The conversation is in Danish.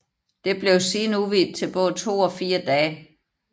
Det blev siden udvidet til både 2 og 4 dage